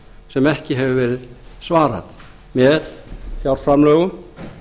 sem ekki hefur verið svarað með fjárframlögum